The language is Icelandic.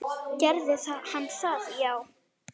Gerði hann það já?